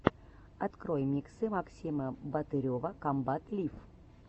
открой миксы максима батырева комбат лив